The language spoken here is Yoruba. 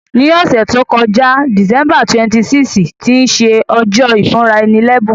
Ní òsẹ̀ to joká, December 26, tí se ojó ìfúnraẹni lẹ́bùn